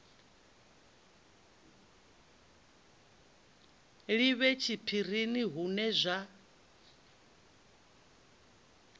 li vhe tshiphirini hune zwa